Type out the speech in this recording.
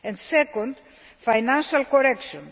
Second, financial correction.